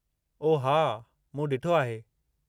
ओह हा! मूं ॾिठो आहे।